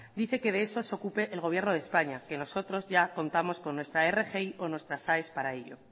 dice que de eso de ocupe el gobierno de españa que nosotros ya contamos con nuestra rgi o con nuestras aes para ello